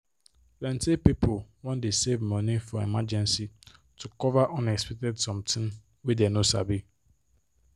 plenty people wan dey save money for emergency to cover unexpected somtin wey dey no sabi